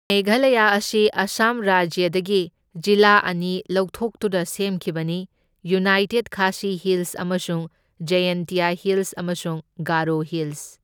ꯃꯦꯘꯥꯂꯌꯥ ꯑꯁꯤ ꯑꯥꯁꯥꯝ ꯔꯥꯖ꯭ꯌꯗꯒꯤ ꯖꯤꯂꯥ ꯑꯅꯤ ꯂꯧꯊꯣꯛꯇꯨꯅ ꯁꯦꯝꯈꯤꯕꯅꯤ, ꯌꯨꯅꯥꯏꯇꯦꯗ ꯈꯥꯁꯤ ꯍꯤꯜꯁ ꯑꯃꯁꯨꯡ ꯖꯥꯌꯦꯟꯇꯤꯌꯥ ꯍꯤꯜꯁ, ꯑꯃꯁꯨꯡ ꯒꯥꯔꯣ ꯍꯤꯜꯁ꯫